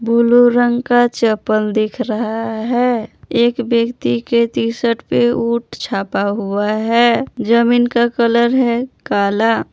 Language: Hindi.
बुलू रंग का चपल दिख रहा है एक व्यक्ति के टीशर्ट पे ऊंट छापा हुआ है जमीन का कलर है काला।